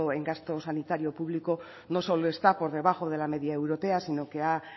en gasto sanitario público no solo está por debajo de la media europea sino que ha